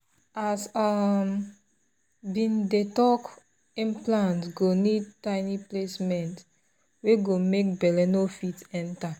as we been um dey talk implant go need tiny placement wey go make belle no fit enter